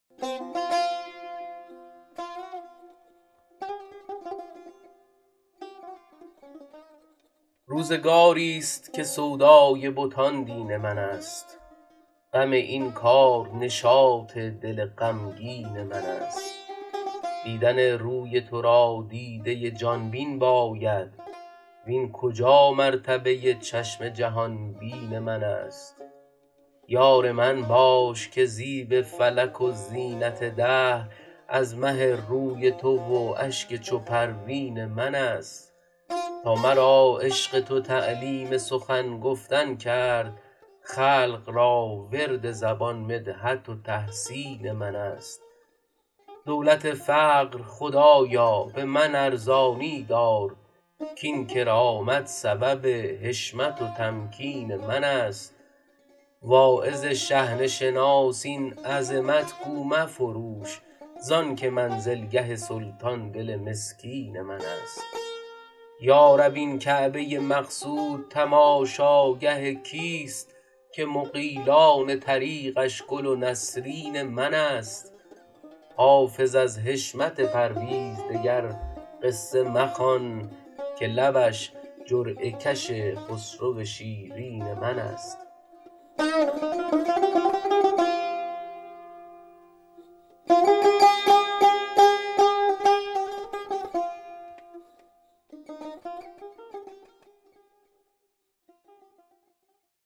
روزگاری ست که سودای بتان دین من است غم این کار نشاط دل غمگین من است دیدن روی تو را دیده ی جان بین باید وین کجا مرتبه ی چشم جهان بین من است یار من باش که زیب فلک و زینت دهر از مه روی تو و اشک چو پروین من است تا مرا عشق تو تعلیم سخن گفتن کرد خلق را ورد زبان مدحت و تحسین من است دولت فقر خدایا به من ارزانی دار کاین کرامت سبب حشمت و تمکین من است واعظ شحنه شناس این عظمت گو مفروش زان که منزلگه سلطان دل مسکین من است یا رب این کعبه ی مقصود تماشاگه کیست که مغیلان طریقش گل و نسرین من است حافظ از حشمت پرویز دگر قصه مخوان که لبش جرعه کش خسرو شیرین من است